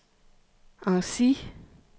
Annecy